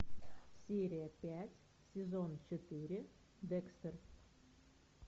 серия пять сезон четыре декстер